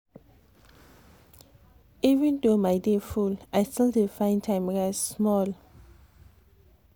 even though my day full i still dey find time rest small.